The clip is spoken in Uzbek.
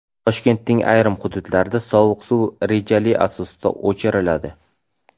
Toshkentning ayrim hududlarida sovuq suv rejali asosda o‘chiriladi.